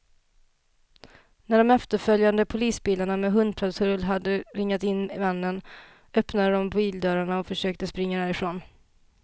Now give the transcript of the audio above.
När de efterföljande polisbilarna med hundpatrull hade ringat in männen, öppnade de bildörrarna och försökte springa därifrån.